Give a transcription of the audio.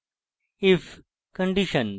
if condition